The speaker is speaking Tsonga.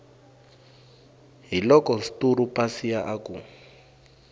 hiloko sturu pasiya a ku